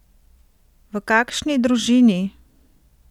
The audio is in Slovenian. V kakšni družini?